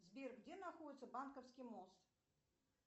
сбер где находится банковский мост